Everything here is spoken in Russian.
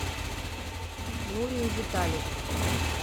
нурию витальевну